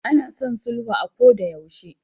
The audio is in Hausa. Ana son sulhu a kodayaushe.